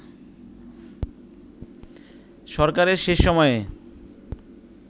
সরকারের শেষ সময়ে